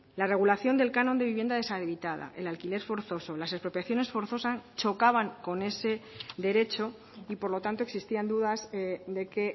la regulación del canon de vivienda deshabitada el alquiler forzoso las expropiaciones forzosas chocaban con ese derecho y por lo tanto existían dudas de que